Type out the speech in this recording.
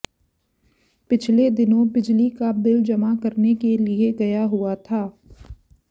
पिछले दिनों बिजली का बिल जमा करने के लिए गया हुआ था